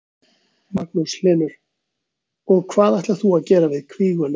Magnús Hlynur: Og hvað ætlar þú að gera við kvíguna?